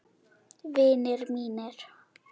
Vinir mínir.